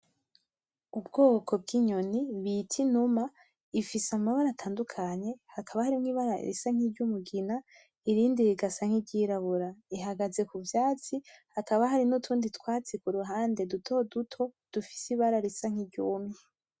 ubwoko bw' nyoni bita inuma ifise amabara atandukanye hakaba harimwo ibara risa n' umugina irindi rigasa niryirabura ihagaze kuvyatsi hakaba harutundi twatsi kuruhande dutoduto dufise ibara risa nkiryumye.